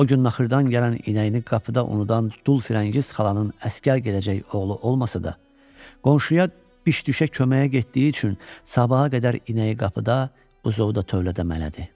O gün naxırdan gələn inəyini qapıda unudan dul firəngiz xalanın əsgər gedəcək oğlu olmasa da, qonşuya biş-düşə köməyə getdiyi üçün sabaha qədər inəyi qapıda, quzovda tövlədə mələdi.